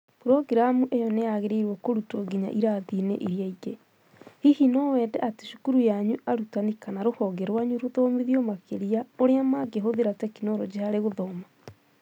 "programu ĩyo nĩ yagĩrĩirũo kũrutwo nginya irathi-inĩ iria ingĩ!" Hihi no wende atĩ cukuru yanyu, arutani, kana rũhonge rwanyu rũthomithio makĩria ũrĩa mangĩhũthĩra tekinoronjĩ harĩ gũthoma?"